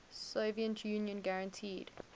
soviet union guaranteed